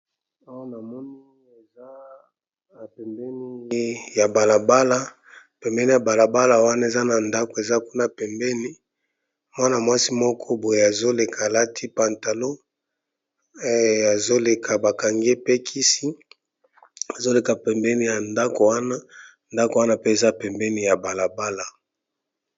Awa namoni eza pembeni ya balabala eza na ndako eza kuna pembeni Mwana mwasi azoleka pe Bakangiye suki malamu.